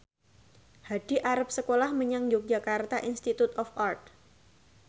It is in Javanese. Hadi arep sekolah menyang Yogyakarta Institute of Art